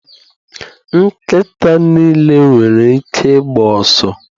Nkịta niile nwere ike ịgba ọsọ